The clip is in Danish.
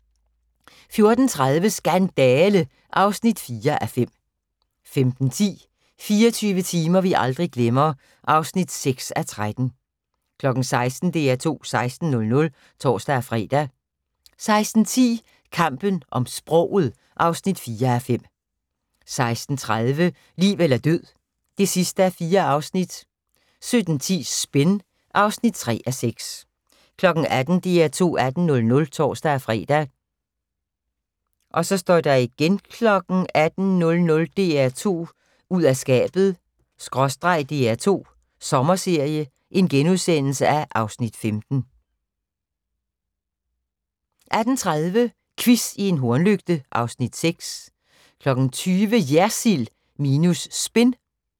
14:30: Skandale! (4:5) 15:10: 24 timer vi aldrig glemmer (6:13) 16:00: DR2 16.00 (tor-fre) 16:10: Kampen om sproget (4:5) 16:30: Liv eller død (4:4) 17:10: Spin (3:6) 18:00: DR2 18.00 (tor-fre) 18:00: DR2 ud af skabet/ DR2 Sommerserie (Afs. 15)* 18:30: Quiz i en hornlygte (Afs. 6) 20:00: JERSILD minus SPIN